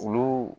Olu